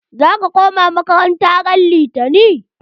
Zaka koma makaranta ran litani!